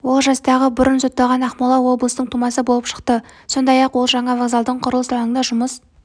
ол жастағы бұрын сотталған ақмола облысының тумасы болып шықты сондай-ақ ол жаңа вокзалдың құрылыс алаңында жұмыс